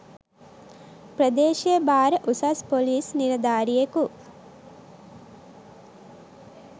ප්‍රදේශය භාර උසස් පොලිස් නිලධාරියෙකු